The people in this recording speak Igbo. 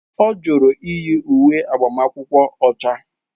Ọ jụrụ iyi uwe agbamakwụkwọ ọcha.